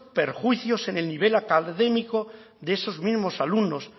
perjuicios en el nivel académico de esos mismos alumnos